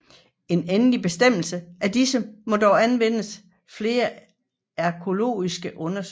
En endelig bestemmelse af disse må dog afvente flere arkæologiske undersøgelser